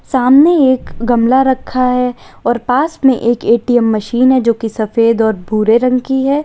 सामने एक गमला रखा है और पास में एक ए_टी_एम मशीन है जो कि सफेद और भूरे रंग की है।